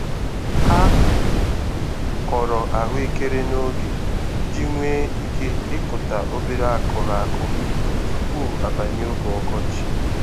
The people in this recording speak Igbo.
Ha kọrọ ahụekeren'oge iji nwee ike ịkụta obere akụrụ akụ tupu abanye oge ọkọchị.